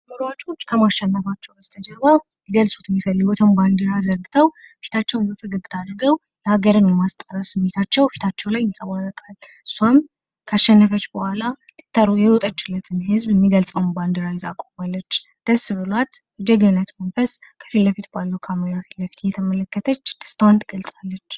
ሯጮች ከማሸነፋቸው በስተጀርባ ሊገልጹት የሚፈልጉትን ባንዲራ ዘርግተው ፊታቸውን በፈገግታ አድርገው ሃገርን የማስጠራት ስሜታቸው ፊታቸው ላይ ይንጸባረቃል። እሷም ካሸነፈች ቡሃላ የሮጠችለትን ህዝብ የሚገልጸውን ባንዲራ ይዛ ቆማለች። ደስ ብሏት በጀግንነት መንፈስ ከፊት ለፊት ባሉ ካሜራዎች ፊትለፊት እየተመለከተች ደስታዋን ትገልጻለች።